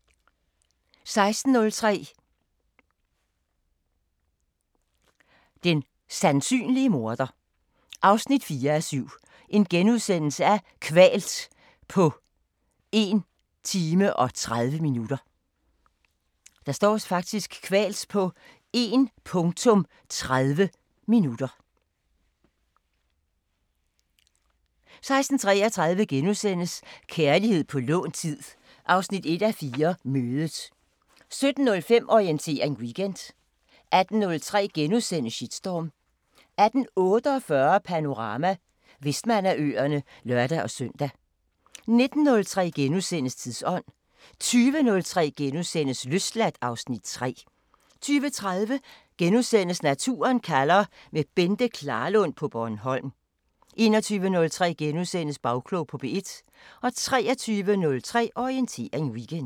00:05: Hjernekassen på P1 *(lør og man) 01:03: Læge søger grænser 3:5 – Gården * 01:30: Naturen kalder – med Bente Klarlund på Bornholm * 02:03: Følg pengene * 03:03: Klog på Sprog 04:03: Orientering Weekend 05:00: Radioavisen (lør-fre) 05:03: Læge søger grænser 3:5 – Gården * 05:33: Baglandet *